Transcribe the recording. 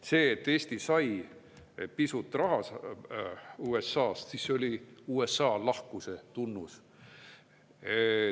See, et Eesti sai pisut raha USA-st, see oli USA lahkuse tunnus.